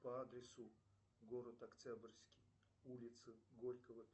по адресу город октябрьский улица горького